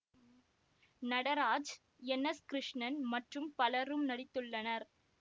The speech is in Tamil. நடராஜ் என் எஸ் கிருஷ்ணன் மற்றும் பலரும் நடித்துள்ளனர்